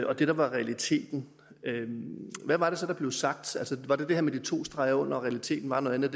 og det der var realiteten hvad var det så der blev sagt var det det her med de to streger under men at realiteten var noget andet